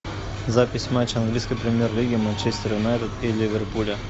запись матча английской премьер лиги манчестер юнайтед и ливерпуля